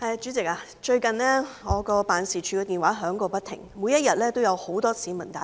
主席，最近我的辦事處電話響個不停，每天也有很多市民來電。